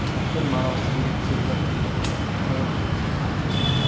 Dafn marosimiga kelgan edi, qolib ketdi.